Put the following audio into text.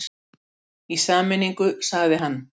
Í sameiningu sagði hann.